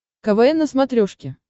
квн на смотрешке